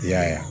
I y'a ye